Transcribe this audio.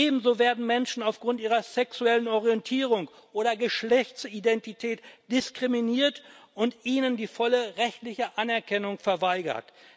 Ebenso werden Menschen aufgrund ihrer sexuellen Orientierung oder Geschlechtsidentität diskriminiert, und ihnen wird die volle rechtliche Anerkennung verweigert.